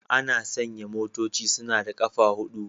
Ana sanya motoci suna da ƙafa huɗu